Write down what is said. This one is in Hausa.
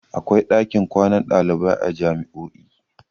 Akwai ɗakin kwana dalibai a jami'o'i